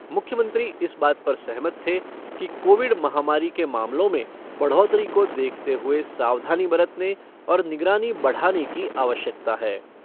मुख्यमंत्री इस बात पर सहमत थे कि कोविड महामारी के मामलों में बढोतरी को देखते हुए सावधानी बरतने और निगरानी बढ़ाने की आवश्यकता है।